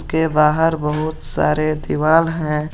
के बाहर बहुत सारे दीवाल हैं।